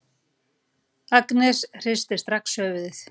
Agnes hristir strax höfuðið.